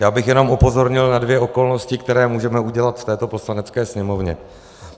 Já bych jenom upozornil na dvě okolnosti, které můžeme udělat v této Poslanecké sněmovně.